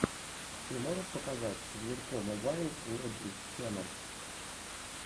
ты можешь показать зверько мобайл лэджендс ченнал